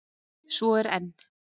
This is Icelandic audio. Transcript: Svo er enn!